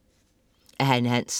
Af Hanne Hansen